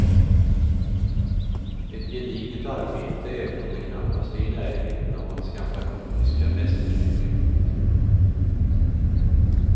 Ett gediget arbete även om det knappast är i närheten av hans gamla komiska mästerstycken.